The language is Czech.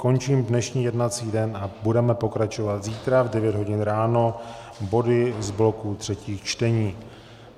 Končím dnešní jednací den a budeme pokračovat zítra v devět hodin ráno body z bloku třetích čtení.